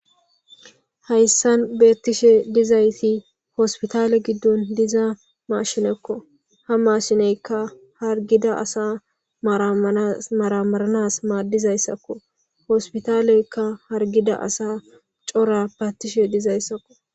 hayssan beettishe dizayti hospitale giddon diza mashinekko ha mashineykka hargida asa maramaranas maaddizayssakko hospitaleykka hargida asa cora paattishe dizayssakko